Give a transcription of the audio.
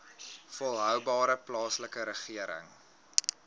volhoubare plaaslike regering